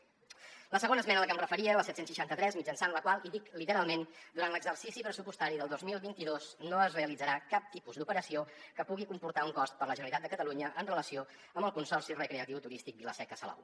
la segona esmena a la que em referia la set cents i seixanta tres mitjançant la qual i ho dic literalment durant l’exercici pressupostari del dos mil vint dos no es realitzarà cap tipus d’operació que pugui comportar un cost per a la generalitat de catalunya en relació amb el consorci recreatiu i turístic vila seca salou